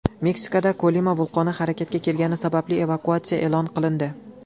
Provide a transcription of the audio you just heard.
Meksikada Kolima vulqoni harakatga kelgani sababli evakuatsiya e’lon qilindi.